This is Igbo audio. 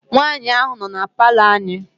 Nwaanyị ahụ nọ na palọ anyị.